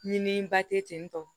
Ɲini ba te ten tɔ